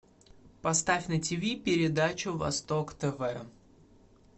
поставь на тиви передачу восток тв